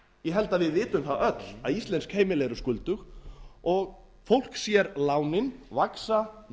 held að við vitum það öll að íslensk heimili eru skuldug og fólk sér lánin vaxa